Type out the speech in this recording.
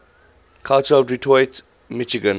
culture of detroit michigan